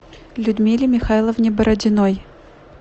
людмиле михайловне бородиной